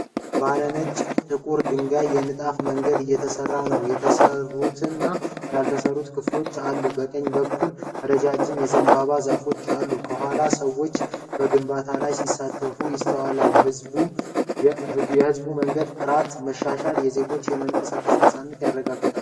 ባለ ነጭና ጥቁር ድንጋይ ንጣፍ መንገድ እየተሰራ ሲሆን፣ የተሰሩትና ያልተሰሩት ክፍሎች አሉት። በቀኝ በኩል ረዣዥም የዘንባባ ዛፎች አሉ። ከኋላ ሰዎች በግንባታ ላይ ሲሳተፉ ይስተዋላል። የሕዝብ መንገድ ጥራት መሻሻል የዜጎችን የመንቀሳቀስ ነፃነት ያረጋግጣል።